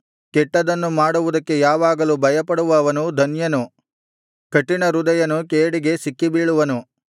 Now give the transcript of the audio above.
ಕೆಟ್ಟದನ್ನು ಮಾಡುವುದಕ್ಕೆ ಯಾವಾಗಲೂ ಭಯಪಡುವವನು ಧನ್ಯನು ಕಠಿಣಹೃದಯನು ಕೇಡಿಗೆ ಸಿಕ್ಕಿಬೀಳುವನು